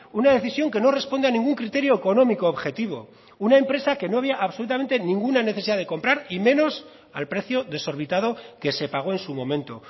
una decisión que no responde a ningún criterio económico objetivo una empresa que no había absolutamente ninguna necesidad de comprar y menos al precio desorbitado que se pagó en su momento